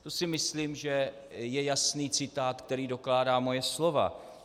To si myslím, že je jasný citát, který dokládá moje slova.